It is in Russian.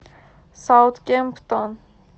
саутгемптон